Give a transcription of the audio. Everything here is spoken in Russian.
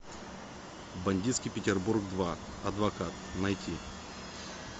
бандитский петербург два адвокат найти